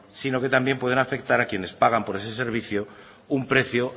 sino que también puedan afectar a quienes pagan por ese servicio un precio